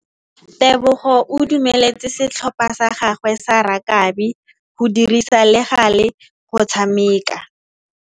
Tebogô o dumeletse setlhopha sa gagwe sa rakabi go dirisa le galê go tshameka.